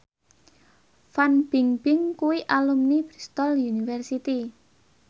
Fan Bingbing kuwi alumni Bristol university